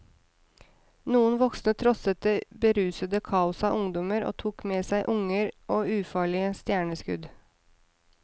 Noen voksne trosset det berusende kaoset av ungdommer, og tok med seg unger og ufarlige stjerneskudd.